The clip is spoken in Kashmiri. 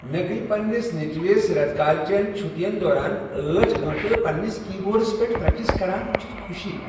مےٚ گٔیہ پننس نیٚچوس ریتہٕ کالہ چن چھٹین دوران ٲٹھ گٲنٹہٕ پنٛنس کی بورڈس پیٹھ پریکٹس کران ؤچھتھ خوشی۔